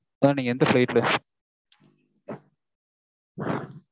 mam நீங்க எந்த flight mam